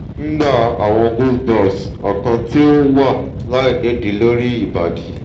ngba awon goosebumps okan ti o wa lainidii lori ibadi